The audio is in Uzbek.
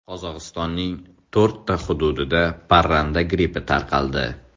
Qozog‘istonning to‘rtta hududida parranda grippi tarqaldi.